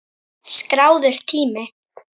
Skráður tími